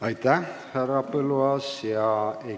Aitäh, härra Põlluaas!